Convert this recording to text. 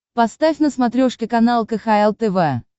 поставь на смотрешке канал кхл тв